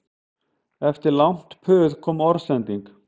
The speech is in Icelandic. Eftir langt puð kom orðsending